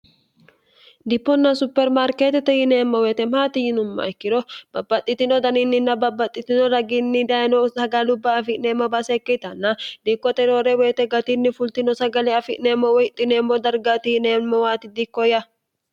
diponna supermaarkeetete yineemmo weyite maati yinumma ikkiro babbaxxitino daniinninna babbaxxitino ragiinni dayino sagalubba afi'neemmo baasekke itanna diikkoteroore woyite gatinni fultino sagale afi'neemmo woyixxineemmo darga tihineemmowaati diikko yya